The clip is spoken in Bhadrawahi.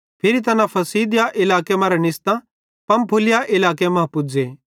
फिरी तैना पिसिदिया इलाके मरां निस्तां पंफूलिया इलाके मां पुज़े